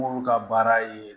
N'olu ka baara ye